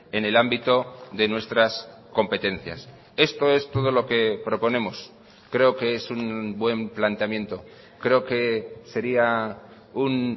en el ámbito de nuestras competencias esto es todo lo que proponemos creo que es un buen planteamiento creo que sería un